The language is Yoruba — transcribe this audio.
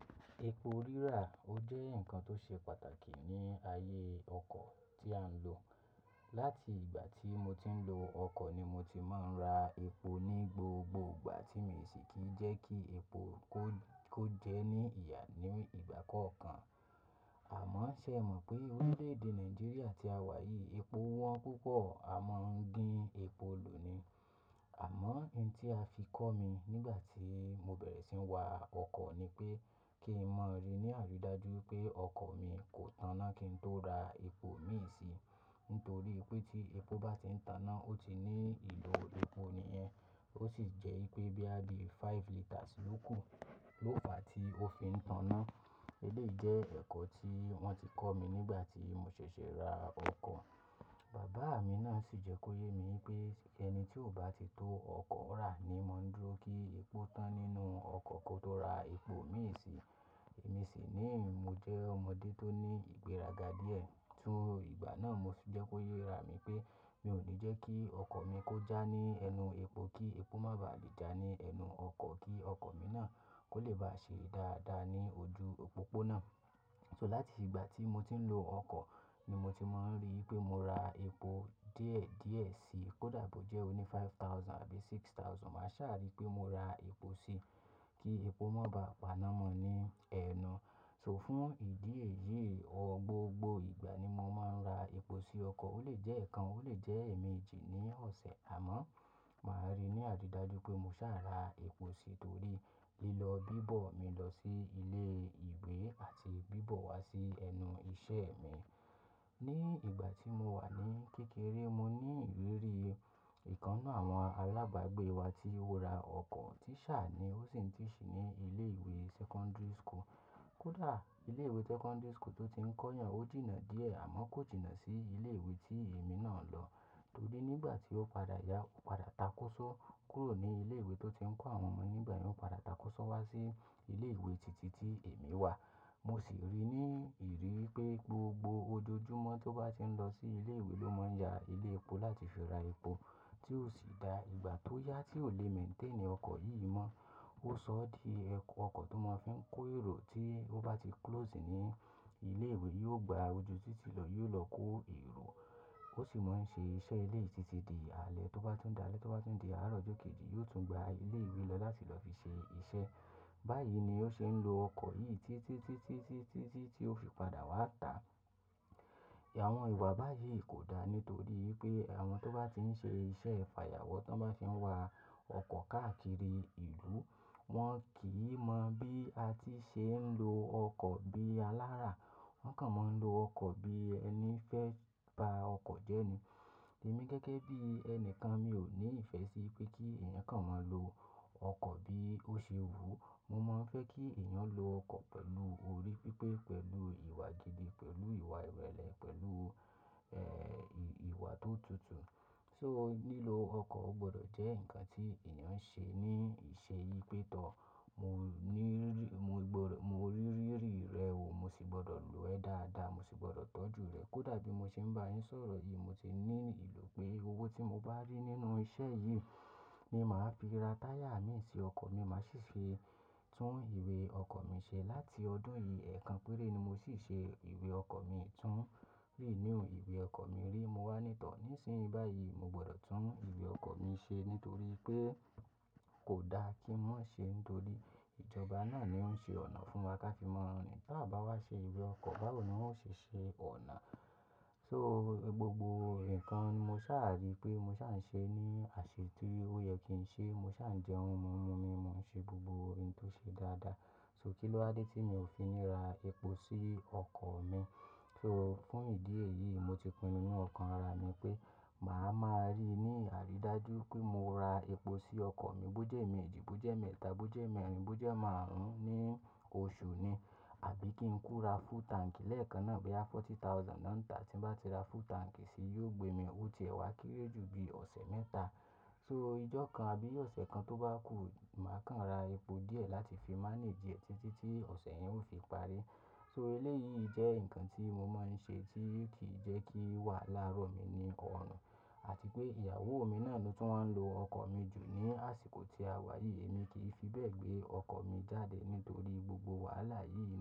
Epo rírà o jẹ́ ǹkan tó ṣe pàtàkì ní ayé ọkọ̀ tí à ń lò. Láti ìgbà tí mo ti ń lo ọkọ̀ ni mo ti máa ń ra epo ní gbogbo ìgbà tí mi sì kì í jẹ́ kí epo kó jẹ́ ní ìyà ní ìgbà kọ̀ọ̀kan. Àmọ́ ó ṣe é mọ̀ pé orílè-èdè Nàìjíríà tí a wà yìí epo wọ́n púpọ̀ a máa ń gin epo lò ni. Àmọ́ ohun tí a fi kọ́ mi nígbà tí mo bẹ̀rẹ̀ sí ń wa ọkọ̀ ni pé kí n mọ̀ ọ́ rí ní àrídájú pé ọkọ̀ mi kò tàn na kí n tó ra epo mii sì. Nítorí pé tí epo bá ti ń tàn na, ó ti ní ìlò epo nìyẹn. Ó sì jẹ́ wipé boya bi five liters ló kù ló fà tí ó fi ń tàn án. Eléyìí jẹ́ ẹ̀kọ́ tí wọ́n ti kọ́ mi nígbà tí mo ṣẹ̀ṣẹ̀ ra ọkọ̀. Bàbá mi náà sì jẹ́ kó yé mi pé ẹni tí ò bá ti tó ọkọ̀ rà ni mọ ń dúró kí epo tán nínú ọkọ̀ kó tó ra epo mii sì. Èmi sì ni mo jẹ́ ọmọdé tó ní ìgbéraga díẹ̀. Tún ìgbà náà mo sì jẹ́ kó yé ra mi pé mi ò ní jẹ́ kí ọkọ̀ mi kó já ní ẹnu epo kí epo má ba à lè já ní ẹnu ọkọ̀ kí ọkọ̀ mi náà kó lè bá ṣe dáadáa ní ojú òpópónà. So láti ìgbà tí mo ti ń lo ọkọ̀ ni mo ti máa ń rí pé mo ra epo díẹ̀ díẹ̀ sí i. Kódà bó jẹ́ ó ní five thousand àbí six thousand, màá ṣàrí pé mo ra epo sí i kí epo má ba à paná mọ́ ní ẹnu. So fún ìdí èyí, gbogbo ìgbà ni mo máa ń ra epo sí ọkọ̀. Ó lè jẹ́ ẹ̀ẹ̀kan, ó lè jẹ́ èèmejì ní ọ̀sẹ̀. Àmọ́ màá rí ní àrídájú pé mo ṣàá ra epo sí i torí lílọ bíbọ̀ mi lọ sí ilé ìwé àti bíbọ̀ wá sí ẹnu iṣẹ́ mi. Ní ìgbà tí mo wà ní kékeré, mo ní ìrírí ìkan nnu àwọn alábàágbé wa tí ó ra ọkọ̀ tí ṣà ní, ó sì ń tì sì ní ilé ìwé secondary school. Kódà ilé ìwé secondary school tó ti ń kọ́ yàn, ó jìnnà díẹ̀ àmọ́ kò jìnnà sí ilé ìwé tí èmi náà lọ. Torí nígbà tí ó padà ya, ó padà takosọ́ kúrò ní ilé ìwé tó ti ń kọ́ àwọn ọmọ. Nígbà yen ó padà takosọ́ wá sí ilé ìwé títí tí èmi wà. Mo sì rí ní ìrí pé gbogbo ojoojúmọ́ tó bá ti ń lọ sí ilé ìwé ló máa ń ya ilé epo láti fi ra epo tí ó sì dá ìgbà tó yá tí ò lè maintain ọkọ̀ yìí mọ́. Ó sọ ọ́ di ọkọ̀ tó máa fi ń kó èrò tí ó bá ti close ní ilé ìwé, yóò gba ojú títí lọ, yóò lọ kó èrò. Ó sì máa ń ṣe iṣẹ́ eleyi títí di alẹ́ tó bá tún dáa lẹ́ tó bá tún di àárọ̀ ọjọ́ kejì yóò tún gba ilé ìwé lọ láti lọ fi ṣe iṣẹ́. Báyìí ni ó ṣe ń lo ọkọ̀ yìí títí, títí, títí, títí tí ó fi padà wá tà. Àwọn ìwà báyìí kò dá nítorí pé àwọn tó bá ti ń ṣe iṣẹ́ ifàyàwọ́, tan bá ti ń wa ọkọ̀ káàkiri ìlú wọ́n kì í mọ bí a ti ṣe ń lo ọkọ̀ bí alára. Wọ́n kàn máa ń lo ọkọ̀ bí ẹni fẹ́ ba ọkọ̀ jẹ́ ni. Èmi gẹ́gẹ́ bí ẹni kan mi ò ní ìfẹ́ sí pé kí èèyàn kan máa lo ọkọ̀ bí ó ṣe wùú. Mo máa ń fẹ́ kí èèyàn lo ọkọ̀ pẹ̀lú orí pípé, pẹ̀lú ìwà gidi, pẹ̀lú ìwà ìrẹ̀lẹ̀, pẹ̀lú, eh, ìwà tó tutù. So lílo ọkọ̀ o gbọdọ̀ jẹ́ ǹkan tí èèyàn ń ṣe ní ìṣe yi pé tọ. Mo ní rí, mo gbọdọ̀, mo ni rí rírì rẹ̀ oò, mo sì gbọdọ̀ lo ẹ́ dáadáa, mo sì gbọdọ̀ tọ́jú rẹ̀. Kódà bí mo ṣe ń bá yín sọ̀rọ̀ yìí mo ti ní ìlò pé owó tí mo bá rí nínú iṣẹ́ yìí ni màá fi ra táyà mi sí ọkọ̀ mi, màá sì ṣe tún ìwé ọkọ̀ mi ṣe. Láti ọdún yìí, ẹ̀kan péré ni mo sì ṣe ìwé ọkọ̀ mi tun. Léèní òun, ìwé ọkọ̀ mi rí mo wá ní to. Nísìnyí báyìí mo gbọdọ̀ tún ìwé ọkọ̀ mi ṣe nítorí pé kò da kí n má ṣe nítorí ìjọba náà ni ó ń ṣe ọ̀nà fún wa ká fi mọ́ rin. Tà bá wá ṣe ìwé ọkọ̀, báwo ni wọ́n ó ṣe ṣe ọ̀nà? So gbogbo ǹkan ni mo ṣàrí pé mo ṣà ń ṣe ní àṣẹ tí ó yẹ kí n ṣe. Mo ṣà ń jẹun, mo ń mu omi, mo ń ṣe gbogbo ohun tó ṣe dáadáa. So kí ló wa dé tí mi ò fi ní ra epo sí ọkọ̀ mi? So fún ìdí èyí, mo ti pinnu nínú ọkàn ara mi pé màá ma rí ní àrídájú pé mo ra epo sí ọkọ̀ mi bó jẹ́ emeejì, bó jẹ́ emẹ́ta, bó jẹ́ emẹ́rin, bó jẹ́ emárùn-ún ní oṣù ni. Àbí kí n kùn ra full tank lẹ́ẹ̀kan náà boya forty thousand náà ń tà. Tí bá ti ra full tank si yóò gbé mi ó ti ẹ̀wá kéré jù bí ọ̀sẹ̀ mẹ́ta. So ijọ́ kan àbí ọ̀sẹ̀ kan tó bá kù, màá kàn ra epo díẹ̀ láti fi manage ẹ̀ títí tí ọ̀sẹ̀ yẹn ó fi parí. So eléyìí jẹ́ ǹkan tí mo máa ń ṣe tí kì í jẹ́ kí wàhala ró mi ní ọrùn. Àti pé ìyàwó mi náà ló tún máa ń lo ọkọ̀ mi jù ní àsìkò tí a wà yìí. Èmi kì í fi bẹ́ẹ̀ gbé ọkọ̀ mi jáde nítorí gbogbo wàhálà yìí.